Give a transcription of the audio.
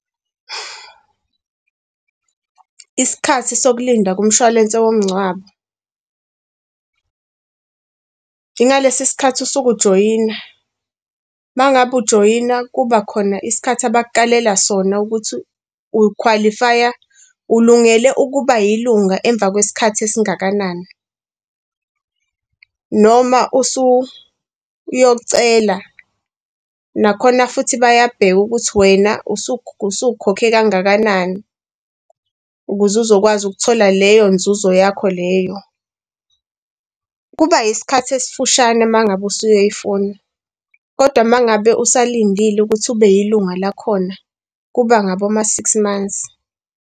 Isikhathi sokulinda kumshwalense womngcwabo. Ngalesi sikhathi usuke ujoyina uma ngabe ujoyina kuba khona isikhathi abakukalela sona ukuthi ukhwalifiya, ulungele ukuba yilunga emva kwesikhathi esingakanani. Noma usuyocela nakhona futhi bayabheka ukuthi wena usukhokhe kangakanani ukuze uzokwazi ukuthola leyo nzuzo yakho leyo. Kuba isikhathi esifushane uma ngabe usuyoyifuna. Kodwa uma ngabe usalindile ukuthi ube yilunga lakhona kuba ngaboma-six months.